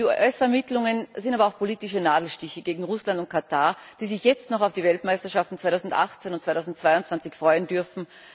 Die US Ermittlungen sind aber auch politische Nadelstiche gegen Russland und Katar, die sich jetzt noch auf die Weltmeisterschaften 2018 und 2022 freuen dürfen.